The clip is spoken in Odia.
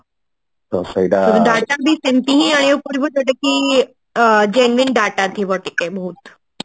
ଆଣିବାକୁ ପଡିବ ଯୋଉଟା କି ଅ genuine data ଥିବ ଟିକେ ବହୁତ